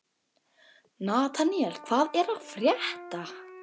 Nataníel, hvað er að frétta?